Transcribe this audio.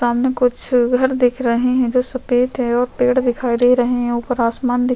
सामने कुछ घर दिख रहे है जो सफ़ेद है और पेड़ दिखाई दे रहे है ऊपर आसमान दिख--